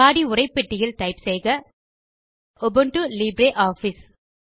பாடி உரைப்பெட்டியில் டைப் செய்க Ubuntu Libre office